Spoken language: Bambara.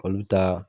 Olu bɛ taa